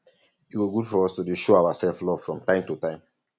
e go good for us to dey show ourselves love from time to time